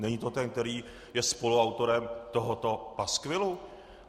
Není to ten, který je spoluautorem tohoto paskvilu?